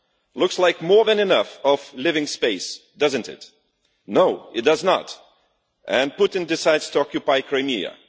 That looks like more than enough living space, does it not? No, it does not, and Putin decides to occupy Crimea.